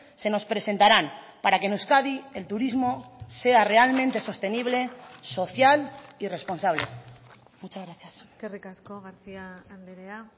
se nos presentaran para que en euskadi el turismo sea realmente sostenible social y responsable muchas gracias eskerrik asko garcía andrea